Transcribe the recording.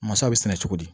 Masaw bɛ sɛnɛ cogo di